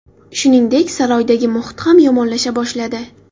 Shuningdek, saroydagi muhit ham yomonlasha boshladi.